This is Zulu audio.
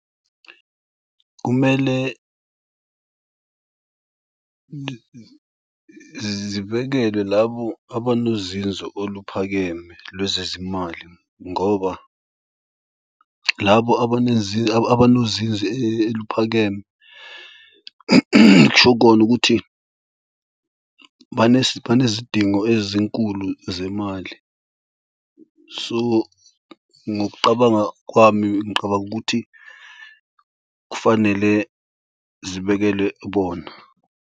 Kumele zibekelwe labo abanozinzo oluphakeme lwezezimali ngoba labo abanozinzo eliphakeme kusho kona ukuthi banezidingo ezinkulu zemali. So ngokuqabanga kwami ngiqabanga ukuthi kufanele zibekelwe bona.